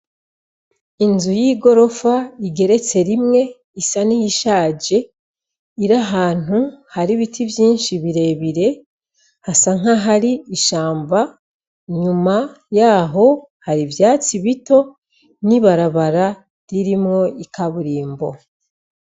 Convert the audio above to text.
Inzu y'igorofa igeretse rimwe. Isa n'iyishaje, iri ahantu hari ibiti vyinshi birebire. Hasa nk'ahari ishamba, inyuma yaho hari ivyatsi bito n'ibarabara ririmwo ikaburimbo.